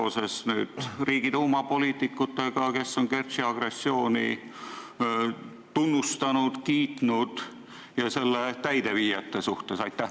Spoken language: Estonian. Pean silmas Riigiduuma poliitikuid, kes on Kertši agressiooni tunnustanud ja kiitnud, ja selle täideviijaid.